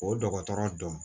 O dɔgɔtɔrɔ dɔn